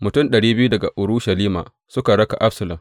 Mutum ɗari biyu daga Urushalima suka raka Absalom.